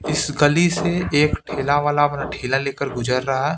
इस गली से एक ठेला वाला अपना ठेला लेकर गुजर रहा है।